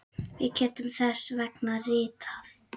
Við getum þess vegna ritað